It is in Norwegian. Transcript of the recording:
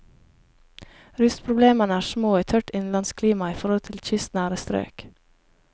Rustproblemene er små i tørt innlandsklima i forhold til kystnære strøk.